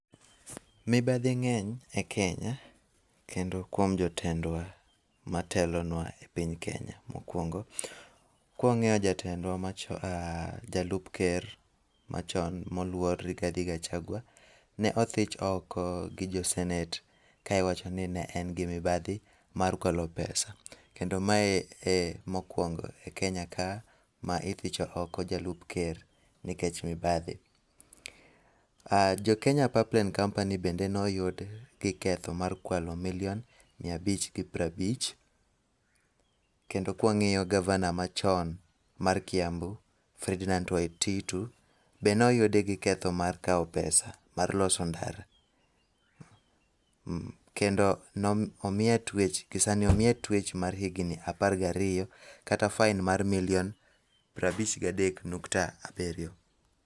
Mibadhi ng'eny e piny Kenya kendo kuom jotendwa matelonwa e piny Kenya. Mokuongo, kwang#iyo jatendwa mach jalup ker, machon moluor Rigathi Gachagua ne othich oko gi jo senate ka iwacho ni ne en gi mibadhi mar kwalo pesa. Kendo mae emokuongo e Kenya ka ma ithicho oko jalup ker nikech mibadhi. Ah jo Kenya Pipeline Company bende ne oyud gi ketho mar kwalo milion miya abich gi piero abich. Kendo kwang'iyo gavana machon mar Kiambu, Ferdinand Waititu bende ne oyude gi ketho mar kawo pesa mar loso ndara, kendo nom omiye twech gisani omiye twech mar higni apar gariyo kata fain mar milion piero abich gadek nukta abiriyo.